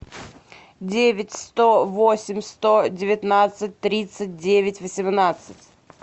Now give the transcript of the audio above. девять сто восемь сто девятнадцать тридцать девять восемнадцать